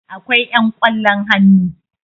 akwai yan ƙwallon hannu